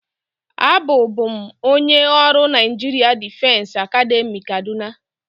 Abụ bụ m onye ọrụ Naịjirịa Difesi Academị Kaduna.